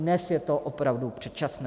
Dnes je to opravdu předčasné.